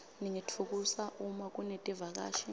ningitfukusa uma kunetivakashi